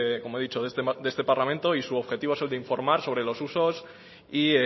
como he dicho de este parlamento y su objetivo es el de informar sobre los usos y